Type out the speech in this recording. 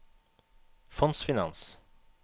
fondsfinans